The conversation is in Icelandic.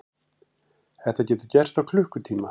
Þetta getur gerst á klukkutíma.